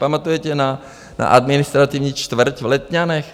Pamatujete na administrativní čtvrť v Letňanech?